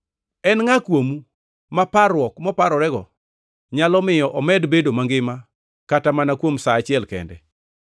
En ngʼa kuomu ma parruok moparorego nyalo miyo omed bedo mangima kata mana kuom sa achiel kende?